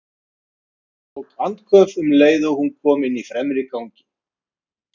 Hún tók andköf um leið og hún kom inn í fremri ganginn.